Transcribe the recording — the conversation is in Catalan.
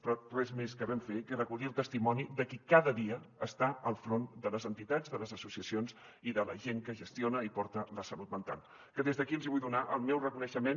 però res més que vam fer que és recollir el testimoni de qui cada dia està al front de les entitats de les associacions i de la gent que gestiona i porta la salut mental que des d’aquí els vull donar el meu reconeixement